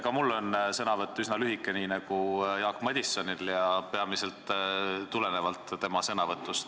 Ka minu sõnavõtt on üsna lühike nii nagu Jaak Madisonil ja peamiselt kõnelengi ma tulenevalt tema sõnavõtust.